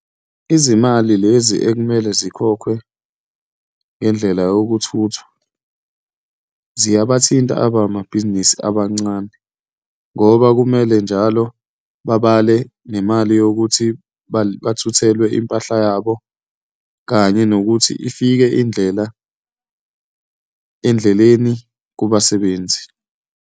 Izimali lezi ekumele zikhokhwe ngendlela yokuthuthwa, ziyabathinta abamahabhizinisi abancane ngoba kumele njalo babale nemali yokuthi bathuthelwe impahla yabo, kanye nokuthi ifike indlela endleleni kubasebenzi.